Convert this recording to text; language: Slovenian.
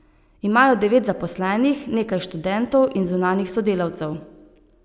Imajo devet zaposlenih, nekaj študentov in zunanjih sodelavcev.